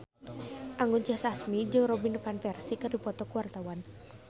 Anggun C. Sasmi jeung Robin Van Persie keur dipoto ku wartawan